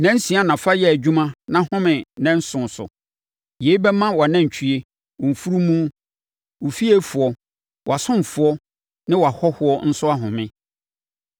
“Nnansia na fa yɛ adwuma na home ne nnanson so. Yei bɛma wʼanantwie, wo mfunumu, wo fiefoɔ, wʼasomfoɔ ne wʼahɔhoɔ nso ahome.